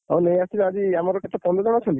ହଉ ନେଇ ଆସିବି ଆଜି ଆମର କେତେ ପନ୍ଦର ଜଣ ଅଛନ୍ତି?